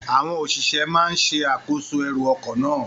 Àwọn òṣìṣẹ́ náà ń ṣe àkóso ẹrù ọkọ̀ náà.